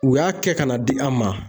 U y'a kɛ ka n'a di an ma